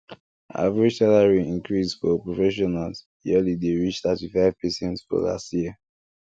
average salary increase for professionals yearly dey reach 35 percent for last year